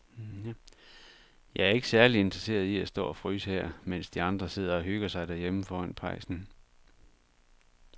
Jeg er ikke særlig interesseret i at stå og fryse her, mens de andre sidder og hygger sig derhjemme foran pejsen.